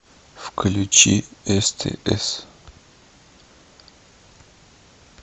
включи стс